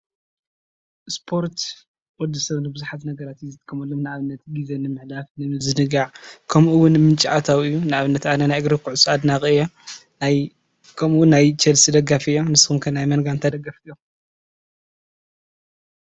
ስፖርት ወዲ ሰብ ንብዙሓት ነገራት ዝጥቀመሎም ንአብነት ግዜ ንምሕላፍ ንምዝንጋዕ ከምኡ እዉን ንምንጪ ኣታዊ ንአብነት አነ ናይ እግሪ ኩዕሶ አድናቂ እየ። ከምኡ እውን ናይ ቸልሲ ደጋፊ እየ ንስኹም ኸ ናይ መን ጋንታ ደገፍቲ ኢኽም?